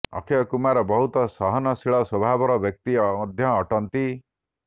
ଅକ୍ଷୟ କୁମାର ବହୁତ ସହନଶୀଳ ସ୍ୱଭାବର ବ୍ୟକ୍ତି ମଧ୍ୟ ଅଟନ୍ତି